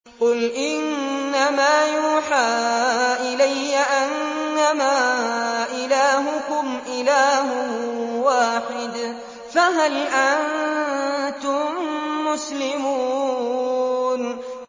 قُلْ إِنَّمَا يُوحَىٰ إِلَيَّ أَنَّمَا إِلَٰهُكُمْ إِلَٰهٌ وَاحِدٌ ۖ فَهَلْ أَنتُم مُّسْلِمُونَ